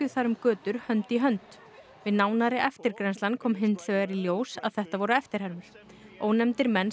þar um götur hönd í hönd við nánari eftirgrennslan kom hins vegar í ljós að þetta voru eftirhermur ónefndir menn